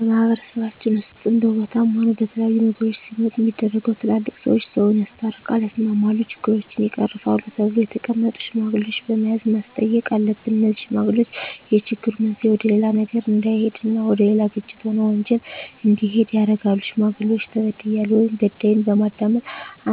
በማህበረሰባችን ውስጥም በቦታም ሆነ በተለያዩ ነገሮች ሲመጡ ሚደረገው ትላልቅ ሰዎች ሰውን ያስታርቃል ያስማማሉ ችግሮችን ይቀርፋሉ ተብለው የተቀመጡ ሽማግሌዎች በመያዝ ማስተየቅ አሉብን እነዜህ ሽማግሌዎች የችግሩ መንሰየ ወደሌላ ነገር እዳሄድ እና ወደሌላ ግጭት ሆነ ወንጀል እንዲሄድ ያረጋሉ ሽማግሌዎች ተበድያለሁ ወይም በዳይን በማዳመጥ